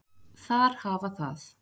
Þar hafa það.